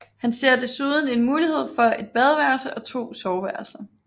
Han ser desuden en mulighed for et badeværelse og to soveværelser